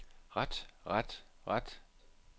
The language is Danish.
ret ret ret